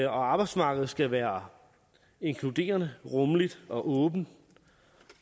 arbejdsmarkedet skal være inkluderende rummeligt og åbent